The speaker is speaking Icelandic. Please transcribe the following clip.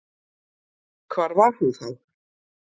Hvar var hún þá?